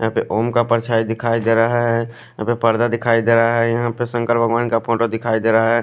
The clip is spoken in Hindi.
यहा पे ओम का परछाई दिखाई देरा है यहा पे पर्दा दिखाई देरा है यहा पे संकर भगवान का फोटो दिखाई देरा है।